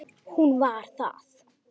Hún var það.